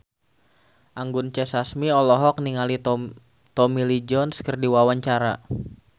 Anggun C. Sasmi olohok ningali Tommy Lee Jones keur diwawancara